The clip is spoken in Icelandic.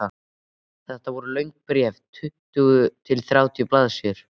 Þetta voru löng bréf, tuttugu til þrjátíu blaðsíður.